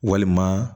Walima